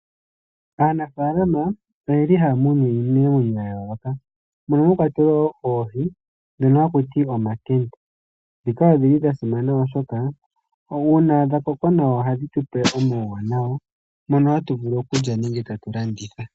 Aanafaalama oyeli haya munu iinamwenyo ya yooloka, mono mwa kwatelwa woo oohi ndhono haku ti omankende, ndhika odhili dha simana oshoka uuna dha koko nawa, ohadhi tupe omauwanawa mono hatu vulu okulya nenege tatu landitha.